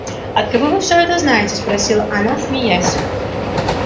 от кого вы все это знаете спросила она смеясь